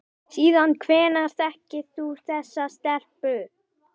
Síðan hvenær þekkir þú þessa stelpu?